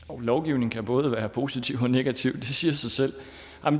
lovgivning kan både være positiv og negativ det siger sig selv